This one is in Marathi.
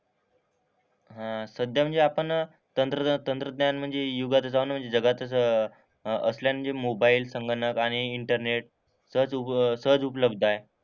हां. सध्या म्हणजे आपण तंत्रज्ञान तंत्रज्ञान म्हणजे युगातच जाऊन म्हणजे जगातच असले म्हणजे मोबाईल, संगणक आणि इंटरनेट सहज उप सहज उपलब्ध आहे.